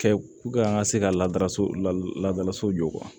Kɛ an ka se ka ladala so la ladala so jɔ